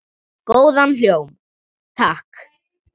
Góðan hljóm, takk!